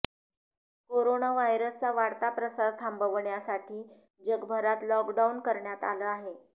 corona व्हायरसचा वाढता प्रसार थांबवण्यासाठी जगभरात लॉकडाऊन करण्यात आलं आहे